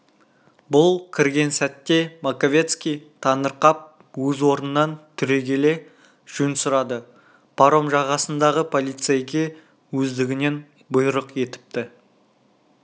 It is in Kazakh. бұл кірген сәтте маковецкий таңырқап өз орнынан түрегеле жөн сұрады паром жағасындағы полицейге өздігінен бұйрық етіпті